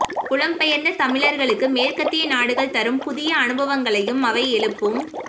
புலம் பெயர்ந்த தமிழர்களுக்கு மேற்கத்திய நாடுகள் தரும் புதிய அனுபவங்களையும் அவை எழுப்பும்